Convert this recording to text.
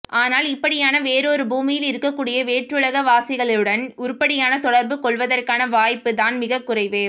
ஆனால் இப்படியான வேறு ஒரு பூமியில் இருக்கக்கூடிய வேற்றுலகவாசிகளுடன் உருப்படியான தொட்ர்பு கொளவதற்கான வாய்ப்பு தான் மிகக் குறைவு